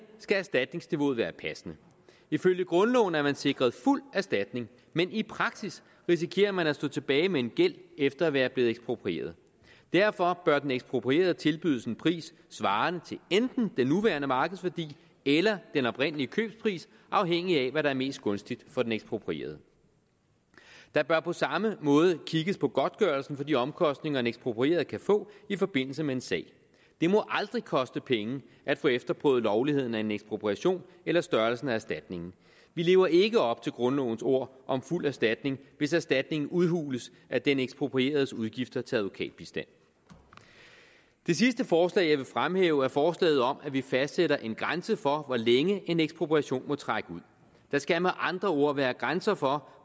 skal erstatningsniveauet være passende ifølge grundloven er man sikret fuld erstatning men i praksis risikerer man at stå tilbage med en gæld efter at være blevet eksproprieret derfor bør den eksproprierede tilbydes en pris svarende til enten den nuværende markedsværdi eller den oprindelige købspris afhængig af hvad der er mest gunstigt for den eksproprierede der bør på samme måde kigges på godtgørelsen for de omkostninger en eksproprieret kan få i forbindelse med en sag det må aldrig koste penge at få efterprøvet lovligheden af en ekspropriation eller størrelsen af erstatningen vi lever ikke op til grundlovens ord om fuld erstatning hvis erstatningen udhules af den eksproprieredes udgifter til advokatbistand det sidste forslag jeg vil fremhæve er forslaget om at vi fastsætter en grænse for hvor længe en ekspropriation må trække ud der skal med andre ord være grænser for